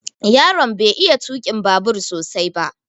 Yaron bai iya tukin babur sosai ba